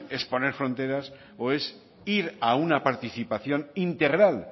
es poner fronteras o es ir a una participación integral